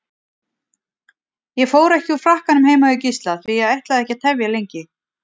Líkurnar höfðu minnkað í einn á móti átta þegar roskni skrifstofumaðurinn